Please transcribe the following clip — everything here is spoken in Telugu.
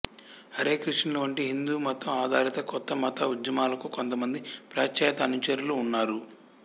హరే కృష్ణులు వంటి హిందూమతం ఆధారిత కొత్త మత ఉద్యమాలకు కొంతమంది పాశ్చాత్య అనుచరులు ఉన్నారు